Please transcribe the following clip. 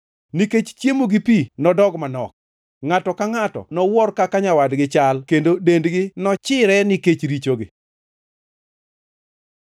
nikech chiemo gi pi nodog manok. Ngʼato ka ngʼato nowuor kaka nyawadgi chal, kendo dendgi nochire nikech richogi.